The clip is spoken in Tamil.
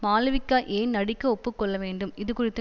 மாளவிகா ஏன் நடிக்க ஒப்பு கொள்ளவேண்டும் இது குறித்து